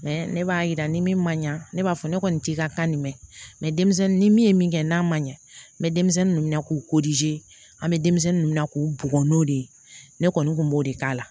ne b'a yira ni min ma ɲa ne b'a fɔ ne kɔni t'i ka kan nin mɛn denmisɛnnin ni min ye min kɛ n'a ma ɲa n be denmisɛnnin nunnu na k'u an be denmisɛnnin nunnu na k'u bugɔ n'o de ye ne kɔni kun b'o de k'a la